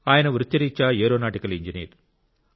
ఆయన వృత్తిరీత్యా aeronautical engineer